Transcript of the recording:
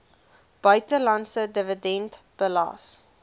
buitelandse dividend belas